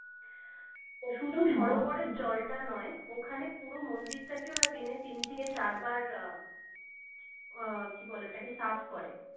শুধু সরোবরের জলটা নাই ওখানে পুরো মন্দিরটাকে ওরা দিনে তিন থেকে চার বার উম আহ কি বলে ওটাকে সাফ করে